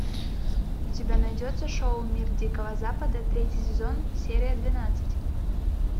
у тебя найдется шоу мир дикого запада третий сезон серия двенадцать